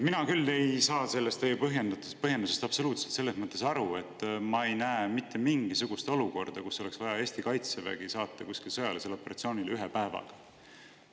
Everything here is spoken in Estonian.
Mina küll ei saa sellest teie põhjendusest absoluutselt selles mõttes aru, et ma ei näe mitte mingisugust olukorda, kus oleks vaja Eesti kaitsevägi saata kuskile sõjalisele operatsioonile ühe päevaga.